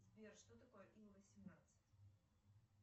сбер что такое ил восемнадцать